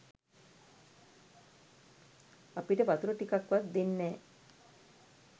අපිට වතුර ටිකක් වත් දෙන්නෑ.